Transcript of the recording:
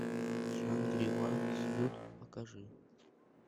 шангри ла сьют покажи